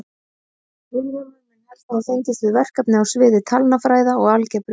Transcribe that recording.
Vilhjálmur mun helst hafa fengist við verkefni á sviði talnafræði og algebru.